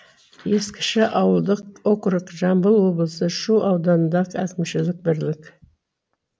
ескіше ауылдық округ жамбыл облысы шу ауданындағы әкімшілік бірлік